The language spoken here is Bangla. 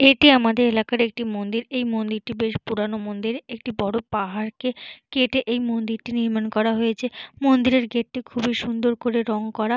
এটি আমাদের এলাকার একটি মন্দির। এই মন্দিরটি বেশ পুরানো মন্দির। একটি বড় পাহাড়কে কেটে এই মন্দিরটি নির্মাণ করা হয়েছে। মন্দিরের গেটটি খুবই সুন্দর করে রং করা।